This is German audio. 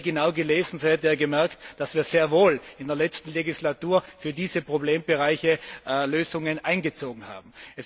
Hätte er sie genau gelesen, so hätte er gemerkt, dass wir sehr wohl in der letzten Legislatur für diese Problembereiche Lösungen einbezogen haben.